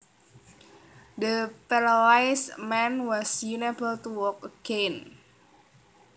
The paralysed man was unable to walk again